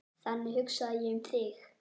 Þannig hugsaði ég um þig.